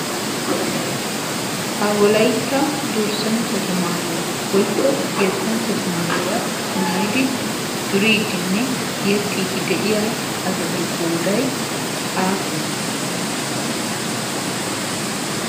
ha wolaytta durssanchchatu maayuwaa woikko yettanchchatu maayuwaa maayidi turiidinne yexxiidi de'iya asatu qoodai aappune?